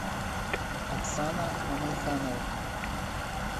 оксана мамайханова